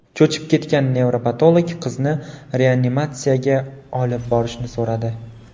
Cho‘chib ketgan nevropatolog qizni reanimatsiyaga olib borishni so‘radi.